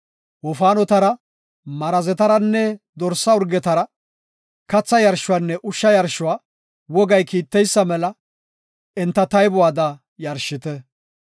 Wofaanotara, Marazetaranne dorsa urgetara katha yarshuwanne ushsha yarshuwa wogay kiitteysa mela enta taybuwada yarshite.